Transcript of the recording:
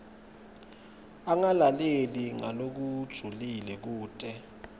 angalaleli ngalokujulile kute